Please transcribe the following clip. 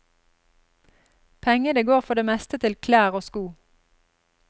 Pengene går for det meste til klær og sko.